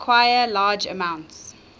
require large amounts